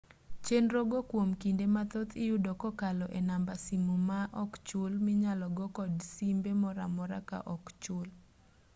chenro go kuom kinde mathoth iyudo kokalo e namba simu ma ok chul minyalo go kod simbe moro amora ka ok ochul